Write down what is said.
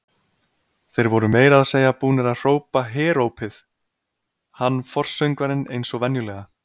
Þeir voru meira að segja búnir að hrópa herópið, hann forsöngvarinn eins og venjulega.